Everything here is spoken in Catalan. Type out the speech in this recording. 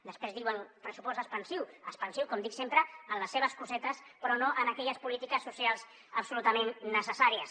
després diuen pressupost expansiu expansiu com dic sempre en les seves cosetes però no en aquelles polítiques socials absolutament necessàries